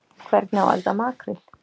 Hvernig á að elda makríl